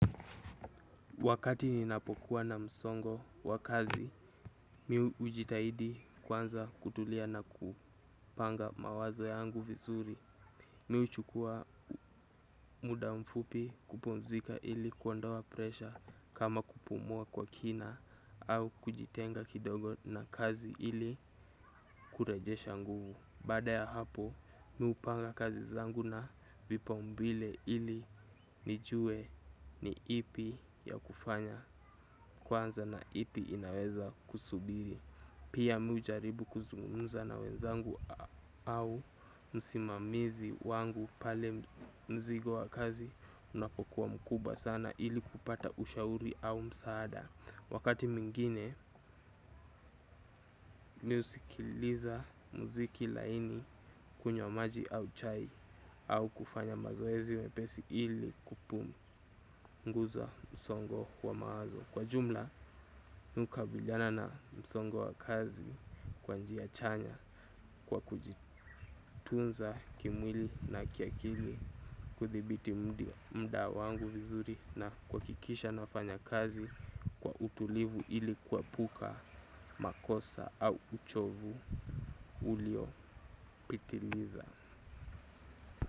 Wakati ninapokuwa na msongo wa kazi, mi hujitahidi kuanza kutulia na kupanga mawazo yangu vizuri. Mi huchukua muda mfupi kupumzika ili kuondoa presha kama kupumua kwa kina au kujitenga kidogo na kazi ili kurejesha nguvu. Baada ya hapo mi hupanga kazi zangu na vipa umbile ili nijue ni ipi ya kufanya kwanza na ipi inaweza kusubiri. Pia mi ujaribu kuzungunza na wenzangu au msimamizi wangu pale mzigo wa kazi unapokuwa mkubwa sana ili kupata ushauri au msaada. Wakati mwingine mi husikiliza muziki laini kunywa maji au chai au kufanya mazoezi mepesi ili kupumunguza msongo wa mawazo. Kwa jumla mi hukabiliana na msongo wa kazi kwa njia chanya kwa kujitunza kimwili na kiakili kuthibiti muda wangu vizuri na kuwakikisha nafanya kazi kwa utulivu ili kuwepuka makosa au uchovu ulio pitiliza.